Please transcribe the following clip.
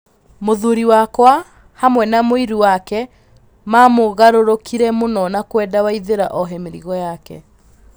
Mũthuri wake hamwe na mũiru wake mamũgarũrũkire mũno na kwenda Waithira ohe mĩrigo yake.